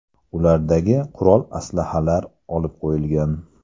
Ulardagi qurol-aslahalar olib qo‘yilgan.